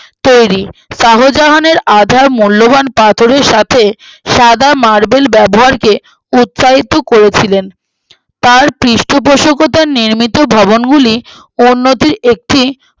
তৈরী শাহজাহান আধা মূল্যবান পাথরের সাথে সাদা marble ব্যবহারকে উৎসাহিত করেছিলেন তার পৃষ্ঠপোষকথায়ে নির্মিত ভবনগুলি উন্নতির একটি তৈরী